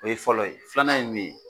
O ye fɔlɔ ye filanan ye mun ye